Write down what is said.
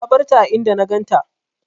Na barta a inda na ganta.